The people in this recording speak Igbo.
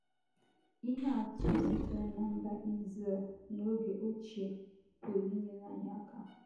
Ihe atụ sitere ná mba Izrel n'oge ochie pụrụ inyere anyị aka.